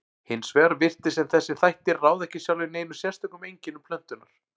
Hins vegar virtist sem þessir þættir ráði ekki sjálfir neinum sérstökum einkennum plöntunnar.